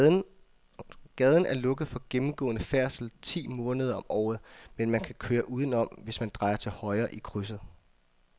Gaden er lukket for gennemgående færdsel ti måneder om året, men man kan køre udenom, hvis man drejer til højre i krydset.